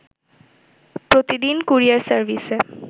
প্রতিদিন কুরিয়ার সার্ভিসে